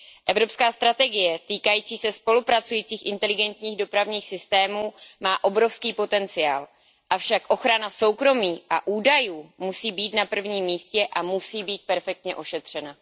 Evropská strategie týkající se spolupracujících inteligentních dopravních systémů má obrovský potenciál, avšak ochrana soukromí a údajů musí být na prvním místě a musí být perfektně ošetřena.